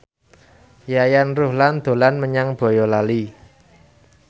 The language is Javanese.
Yayan Ruhlan dolan menyang Boyolali